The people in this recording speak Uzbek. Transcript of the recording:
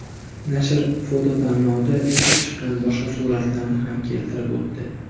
Nashr fototanlovda yutib chiqqan boshqa suratlarni ham keltirib o‘tdi.